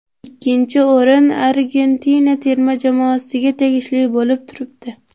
Ikkinchi o‘rin Argentina terma jamoasiga tegishli bo‘lib turibdi.